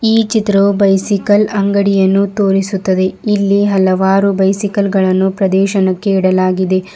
ಈ ಚಿತ್ರವು ಬೈಸಿಕಲ್ ಅಂಗಡಿಯನ್ನು ತೋರಿಸುತ್ತದೆ ಇಲ್ಲೇ ಹಲವಾರು ಬೈಸಿಕಲ್ ಗಳನ್ನು ಪ್ರದೇಶನಕ್ಕೆ ಇಡಲಾಗಿದೆ.